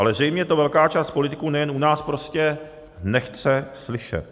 Ale zřejmě to velká část politiků, nejen u nás, prostě nechce slyšet.